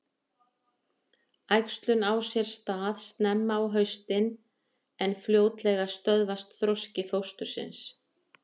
Æxlun á sér stað snemma á haustin en fljótlega stöðvast þroski fóstursins.